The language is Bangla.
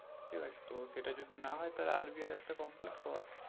ঠিক আছে সেটা যদি না হয় তাহলে RBI একটা complete কর